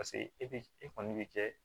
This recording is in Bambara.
Paseke e bi e kɔni bi kɛ